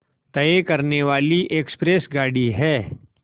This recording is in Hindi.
तय करने वाली एक्सप्रेस गाड़ी है